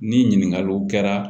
Ni ɲininkaliw kɛra